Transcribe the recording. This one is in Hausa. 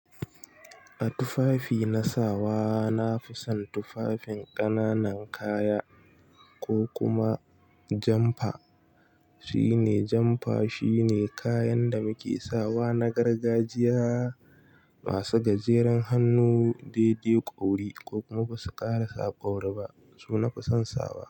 A tufafi na sawa, na fi son tufafin ƙananan kaya ko kuma jamfa. Shine jamfa shine kayan da muke sawa na gargajiya masu gajeren hannu daidai ƙauri ko kuma ba su ƙara sa ƙauri ba, su nafi son sawa.